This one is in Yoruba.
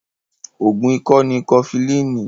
Oògùn ikọ́ ni Kọfilínì